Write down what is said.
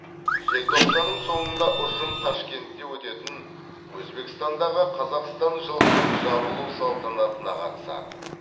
желтоқсанның соңында ұжым ташкентте өтетін өзбекстандағы қазақстан жылының жабылу салтанатына қатысады